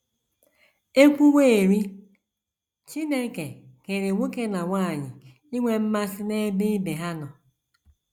E kwuwerị, Chineke kere nwoke na nwanyị inwe mmasị n’ebe ibe ha nọ.